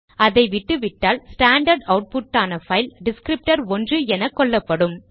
அதை விட்டுவிட்டால் standard output ஆன பைல் டிஸ்க்ரிப்டர்1 என கொள்ளப்படும்